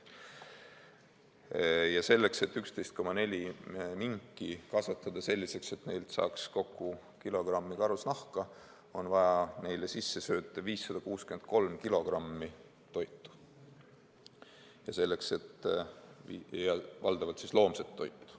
Ja selleks, et 11,4 minki kasvatada selliseks, et neilt saaks kokku kilogrammi karusnahka, on vaja neile sisse sööta 563 kilogrammi toitu, valdavalt loomset toitu.